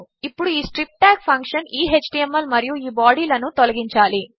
ఇప్పుడుఈ strip tag ఫంక్షన్ఈ HTML మరియుఈ బాడీ లనుతొలగించాలి